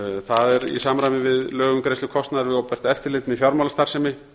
það er í samræmi við lög um greiðslu kostnaðar við opinbert eftirlit með fjármálastarfsemi